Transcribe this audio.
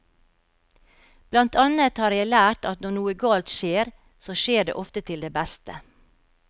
Blant annet har jeg lært at når noe galt skjer, så skjer det ofte til det beste.